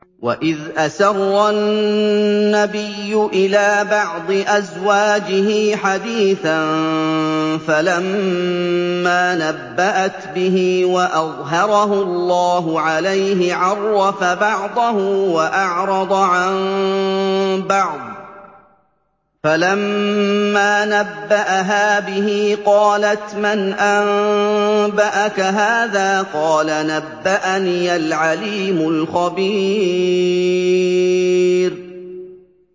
وَإِذْ أَسَرَّ النَّبِيُّ إِلَىٰ بَعْضِ أَزْوَاجِهِ حَدِيثًا فَلَمَّا نَبَّأَتْ بِهِ وَأَظْهَرَهُ اللَّهُ عَلَيْهِ عَرَّفَ بَعْضَهُ وَأَعْرَضَ عَن بَعْضٍ ۖ فَلَمَّا نَبَّأَهَا بِهِ قَالَتْ مَنْ أَنبَأَكَ هَٰذَا ۖ قَالَ نَبَّأَنِيَ الْعَلِيمُ الْخَبِيرُ